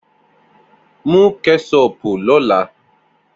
Mu kẹṣopu lọla!